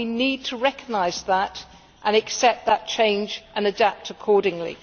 We need to recognise that, accept that change and adapt accordingly.